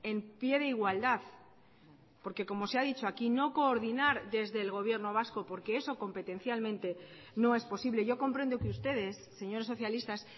en pie de igualdad porque como se ha dicho aquí no coordinar desde el gobierno vasco porque eso competencialmente no es posible yo comprendo que ustedes señores socialistas